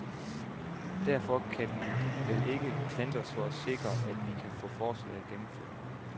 Derfor kan vi vel ikke klandres for at sikre, at vi kan få forslaget gennemført.